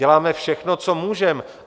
Děláme všechno, co můžeme.